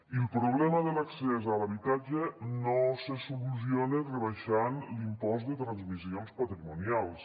i el problema de l’accés a l’habitatge no se soluciona rebaixant l’impost de transmissions patrimonials